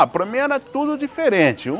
Ah, para mim era tudo diferente.